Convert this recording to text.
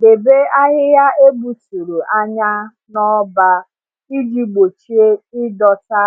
Debe ahịhịa egbuturu anya na-ọba iji gbochie ịdọta